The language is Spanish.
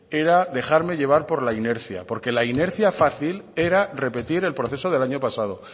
era dejarme llevar por la inercia porque la inercia fácil era repetir el proceso del año pasado